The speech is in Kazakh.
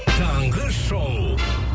таңғы шоу